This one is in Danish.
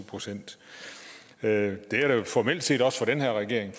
procent det er det jo formelt set også for den her regering